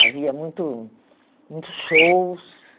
Havia muito muitos shows.